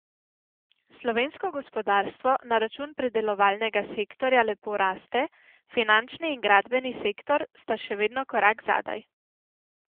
Slovensko gospodarstvo na račun predelovalnega sektorja lepo raste, finančni in gradbeni sektor sta še vedno korak zadaj.